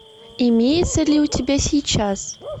имеется ли у тебя сейчас